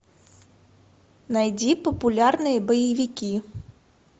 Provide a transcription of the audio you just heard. найди популярные боевики